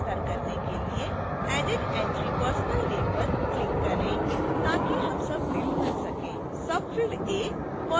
tag का विस्तार करने के लिए added entrypersonal name पर क्लिक करें ताकि हम सबफ़िल्ड भर सकें